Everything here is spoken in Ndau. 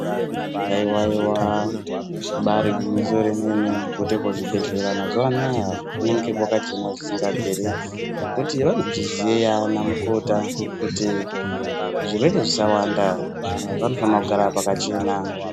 Haiwa-iwa ,ribaari gwinyiso remene mene, kuti kizvibhehlera mazuwa anaya kunenge kwakachena zvisikabviri kuti vanozviziya ana mukota kuti zvirwere zvisawanda vantu vanofanira kugara pakachena.